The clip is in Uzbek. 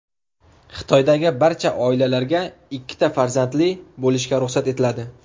Xitoydagi barcha oilalarga ikkita farzandli bo‘lishga ruxsat etiladi.